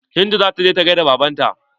Hindu zata je ta gaida baban ta.